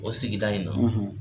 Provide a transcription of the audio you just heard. O sigida in na